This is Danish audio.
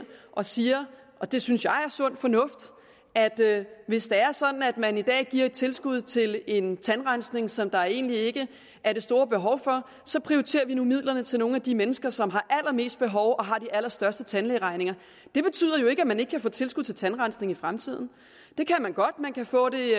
og siger og det synes jeg er sund fornuft at hvis det er sådan at man i dag giver et tilskud til en tandrensning som der egentlig ikke er det store behov for så prioriterer vi nu midlerne til nogle af de mennesker som har allermest behov og har de allerstørste tandlægeregninger det betyder jo ikke at man ikke kan få tilskud til tandrensning i fremtiden det kan man godt man kan få det